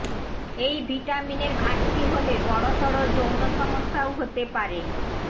এই ভিটামিনের ঘাটতি হলে বড়সড় যৌন সমস্যাও হতে পারে